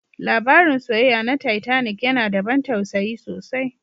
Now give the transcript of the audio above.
Labarin soyayya na Titanic yana da ban tausayi sosai